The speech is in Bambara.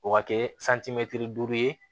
O ka kɛ duuru ye